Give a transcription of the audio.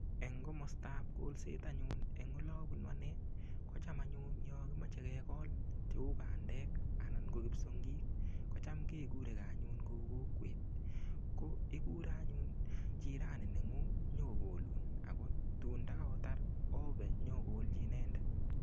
Eng' komostaab kolset anyun eng' ole abunu ane kocham anyun yo kimochei kekol cheu pandek anan ko kipsongik kocham kekuregei anyun kou kokwet ko ikure anyun jirani neng'ung' nyikokolun ako tuun ndikaotar obe nyokolji inendet